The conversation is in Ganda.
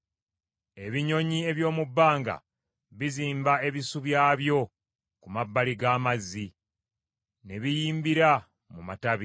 Ebinyonyi eby’omu bbanga bizimba ebisu byabyo ku mabbali g’amazzi, ne biyimbira mu matabi.